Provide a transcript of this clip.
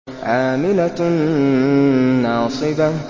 عَامِلَةٌ نَّاصِبَةٌ